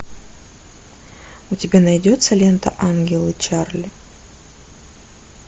у тебя найдется лента ангелы чарли